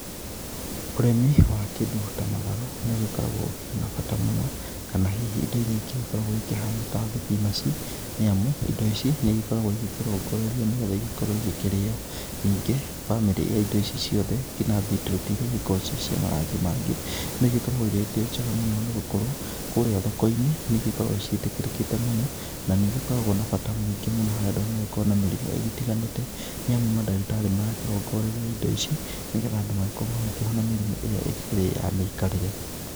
Ũrĩmi wa kĩndu ta matharũ nĩũgĩkoragwo ũkĩrĩ na bata muno, kana hihi indo ĩrĩa ingĩ ĩgĩkoragwo ihana ta thibinaji, nĩamu indo ici nĩigĩkoragwo ikĩrogorerio nĩgetha ikorwo ĩgĩkĩrĩo nigĩ bamĩrĩ ya indo ici ciothe ginya beatroot irĩ ikoragwo ci cia marangi mangĩ, nĩíigĩkoragwo irĩ njega mũno nĩgũkorwo kũria thokoinĩ nĩigĩkoragwo cĩĩtĩkĩrĩte mũno na nĩigĩkoragwo na bata mũingĩ mũno harĩ andũ arĩa magĩkoragwo na mĩrĩmũ ĩgĩtiganĩte nĩamu madagĩtari marakĩrogoreria ĩndo ici, nĩgetha andu magakorwo makĩhona mĩrĩmu ĩrĩa ĩkĩrĩ ya mĩikarĩre.